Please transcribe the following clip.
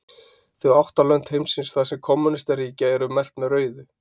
Þau átta lönd heimsins þar sem kommúnistar ríkja eru merkt með rauðu.